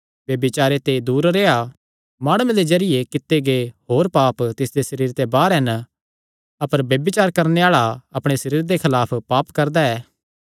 ब्यभिचारे ते दूर रेह्आ माणुये दे जरिये कित्ते गै होर पाप तिसदे सरीरे ते बाहर हन अपर ब्यभिचार करणे आल़ा अपणे सरीरे दे खलाफ पाप करदा ऐ